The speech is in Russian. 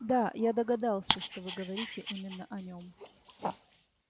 да я догадался что вы говорите именно о нём